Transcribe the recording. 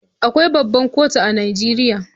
Akwai babbar kotu a Najeriya.